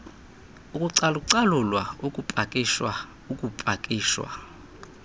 ukucalucalulwa ukupakishwa ukupakishwa